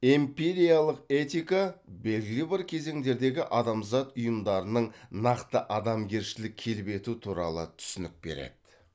эмпириялық этика белгілі бір кезеңдердегі адамзат ұйымдарының нақты адамгершілік келбеті туралы түсінік береді